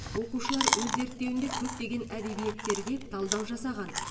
оқушылар өз зерттеуінде көптеген әдебиеттерге талдау жасаған